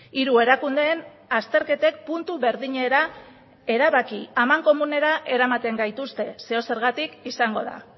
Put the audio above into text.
hiru erakundeen azterketek puntu berdinera erabaki amankomunera eramaten gaituzte zeozergatik izango da